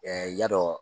ya dɔ